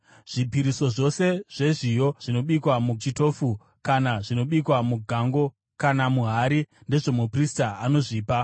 Zvipiriso zvose zvezviyo zvinobikwa muchitofu kana zvinobikwa mugango kana muhari ndezvomuprista anozvipa,